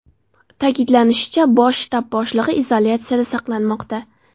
Ta’kidlanishicha, bosh shtab boshlig‘i izolyatsiyada saqlanmoqda.